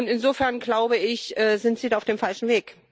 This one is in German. Insofern, glaube ich, sind Sie da auf dem falschen Weg.